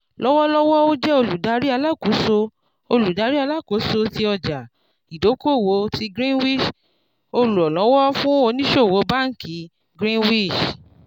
lọ́wọ́lọ́wọ́ ó jẹ́ olùdarí alákóso olùdarí alákóso tí ọjà-ìdókòwò ti greenwich olùrànlówó fún ònísòwò báńkì greenwich